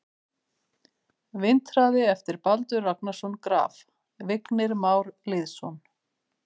Vindhraði eftir Baldur Ragnarsson Graf: Vignir Már Lýðsson